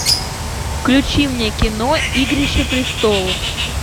включи мне кино игрища престолов